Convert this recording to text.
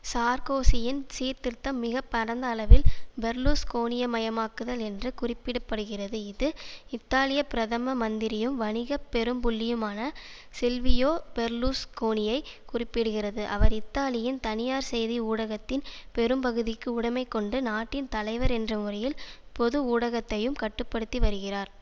சார்க்கோசியின் சீர்திருத்தம் மிக பரந்த அளவில் பெர்லுஸ்கோனியமயமாக்குதல் என்று குறிப்பிட படுகிறது இது இத்தாலிய பிரதம மந்திரியும் வணிக பெரும்புள்ளியுமான சில்வியோ பெர்லுஸ்கோனியை குறிப்பிடுகிறது அவர் இத்தாலியின் தனியார் செய்தி ஊடகத்தின் பெரும்பகுதிக்கு உடைமை கொண்டு நாட்டின் தலைவர் என்ற உறையில் பொது ஊடகத்தையும் கட்டு படுத்தி வருகிறார்